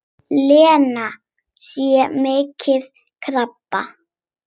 Lena sé með krabba.